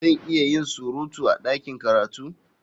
Zan iya yin surutu a ɗakin karatu?